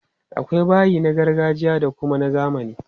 Akwai bayi na gargajiya da kuma na zamani.